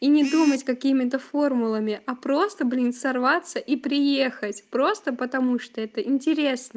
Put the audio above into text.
и не думать какими-то формулами а просто блин сорваться и приехать просто потому что это интересно